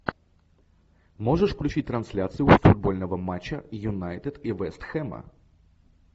можешь включить трансляцию футбольного матча юнайтед и вест хэма